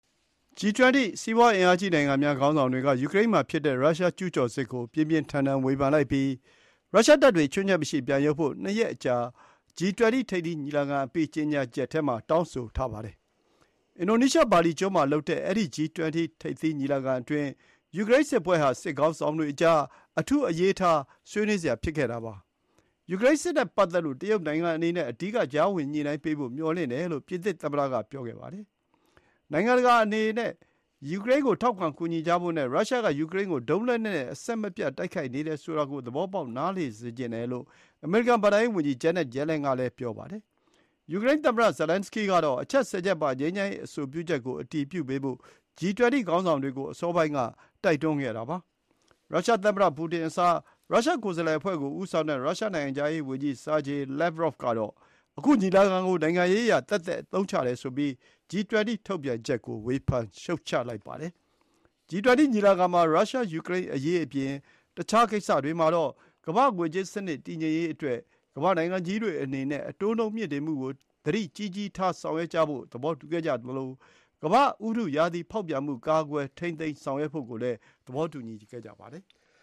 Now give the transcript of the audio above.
G20 စီးပွားအင်အားကြီးနိုင်ငံများခေါင်းဆောင်တွေက ယူကရိန်းမှာဖြစ်တဲ့ ရုရှားကျူးကျော်စစ်ကို ပြင်းပြင်းထန်ထန်ဝေဖန်လိုက်ပြီး ရုရှားတပ်တွေ ခြွင်းချက်မရှိ ပြန်ရုပ်ဖို့ နှစ်ရက်ကြာ G20 ထိပ်သီးညီလာခံအပြီး ကြေညာချက်ထဲ တောင်းဆိုထားပါတယ်။ အင်ဒိုနီးရှား ဘာလီကျွန်းမှာလုပ်တဲ့ အဲဒီ G20 ထိပ်သီးညီလာခံအတွင်း ယူကရိန်းစစ်ပွဲဟာ ခေါင်းဆောင်တွေကြား အထူးအရေးထား ဆွေးနွေးစရာဖြစ်ခဲ့တာပါ။ ယူကရိန်းစစ်နဲ့ပတ်သက်လို့ တရုတ်နိုင်ငံအနေနဲ့ အဓိက ကြားဝင်ညှိနှိုင်းပေးဖို့ မျှော်လင့်တယ်လို့ ပြင်သစ်သမ္မတက ပြောခဲ့ပါတယ်။ နိုင်ငံတကာအနေနဲ့ ယူကရိန်းကို ထောက်ခံကူညီကြဖို့နဲ့ ရုရှားက ယူကရိန်းကို ဒုံးလက်နက်တွေနဲ့ အဆက်မပြတ်တိုက်ခိုက်နေတယ်ဆိုတာကို သဘောပေါက်နားလည်စေချင်တယ်လို့ အမေရိကန် ဘဏ္ဍာရေးဝန်ကြီး Janet Yellen က ပြောခဲ့ပါတယ်။ ယူကရိန်းသမ္မတ Zelenskyy ကတော့ အချက် ၁၀ ချက်ပါ ငြိမ်းချမ်းရေးအဆိုပြုချက်ကို အတည်ပြုပေးဖို့ G20 ခေါင်းဆောင်တွေကို အစောပိုင်းက တိုက်တွန်းခဲ့တာပါ။ ရုရှားသမ္မတပူတင်အစား ရုရှားကိုယ်စားလှယ်အဖွဲ့ကို ဦးဆောင်တဲ့ ရုရှားနိုင်ငံခြားရေးဝန်ကြီး Sergei Lavrov ကတော့ အခုညီလာခံကို နိုင်ငံရေးအရ သက်သက်အသုံးချတယ်ဆိုပြီး G20 ထုတ်ပြန်ချက်ကို ဝေဖန်ရှုတ်ချပါတယ်။ G20 ညီလာခံမှာ ရုရှား-ယူကရိန်းအရေးအပြင် အခြားကိစ္စတွေမှာတော့ ကမ္ဘာ့ငွေကြေးစနစ်တည်ငြိမ်ရေးအတွက် ကမ္ဘာ့နိုင်ငံကြီးတွေအနေနဲ့ အတိုးနှုန်းမြှင့်တင်မှုကို သတိကြီးကြီးထားဆောင်ရွက်ဖို့ သဘောတူခဲ့ကြသလို ကမာ့္ဘဥတုရာသီဖောက်ပြန်မှု ထိန်းသိမ်းရေးဆောင်ရွက်ဖို့ကိုလည်း သဘောတူခဲ့ကြပါတယ်။